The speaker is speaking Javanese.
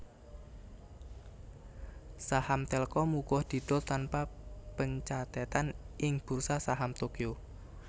Saham Telkom uga didol tanpa pencathetan ing Bursa Saham Tokyo